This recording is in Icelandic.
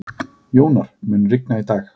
Jónar, mun rigna í dag?